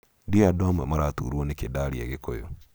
Ndiũĩ andũ amwe maratuurwo nĩkĩ ndaaria Gĩkũyũ